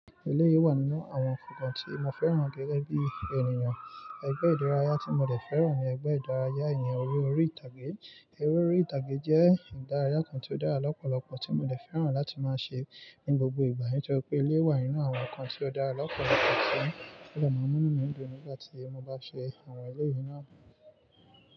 Ilé yìí wà nínú àwọn nnkan tí mo fẹ́ràn gẹ́gẹ́ bí ènìyàn. Ẹgbẹ́ ìdárayá tí mo lè fẹ́ràn ni ẹgbẹ́ ìdárayá ẹ̀yìn orí-ori ìtàgé. Eré orí ìtàgé jẹ́ ìdárayá kan tí ó dára lọ́pọ̀lọpọ̀ tí mo dẹ fẹ́ràn láti máa ṣe ní gbogbo ìgbà nítorí pé elé yìí wà nínú àwọn nǹkan tí ó dára lọ́pọ̀lọpọ̀ tí ó lè máa mú nu mi dùn nígbà tí mo bá ṣe àwọn elé yìí náà.